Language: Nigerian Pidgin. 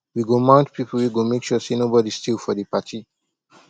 we go mount pipo wey go make sure sey nobodi steal for di party